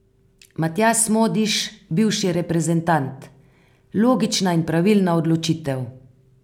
Matjaž Smodiš, bivši reprezentant: 'Logična in pravilna odločitev.